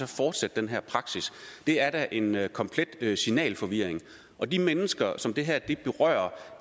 fortsætte den her praksis det er da en komplet signalforvirring og de mennesker som det her berører